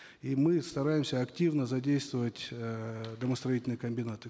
и мы стараемся активно задействовать эээ домостроительные комбинаты